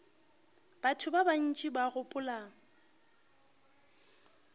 batho ba bantši ba gopola